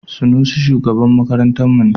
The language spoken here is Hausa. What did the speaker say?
Sanusi shugaban makarantarmu ne.